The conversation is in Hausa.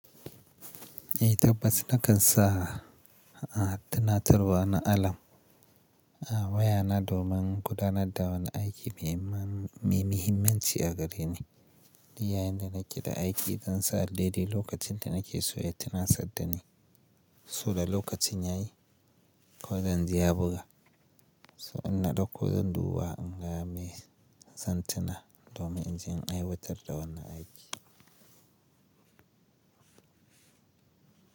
Eh tabbas nakan sa, a tana tarwa na alam, a waya na domin gudanar da wani aiki mai mam-mai muhimmanci a gare ni. Ni yayin da nake da aiki zan sa dai-dai lokacin da nake so ya tana sadda ni, so da lokacin yayi, ko zanzu ya buga. So in na dauko zan duba in gaya me zan tuna domin in je in aiwatar da wannan aiki.